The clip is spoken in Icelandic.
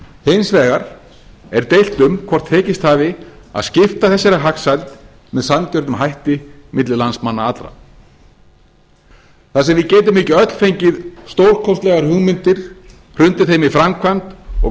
hins vegar er deilt en hvort tekist hafi að skipta þessari hagsæld með sanngjörnum hætti milli landsmanna allra þar sem við getum ekki öll fengið stórkostlegar hugmyndir hrundið þeim í framkvæmd og